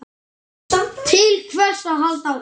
Til hvers að halda áfram?